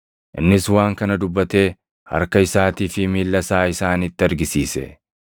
Innis waan kana dubbatee harka isaatii fi miilla isaa isaanitti argisiise.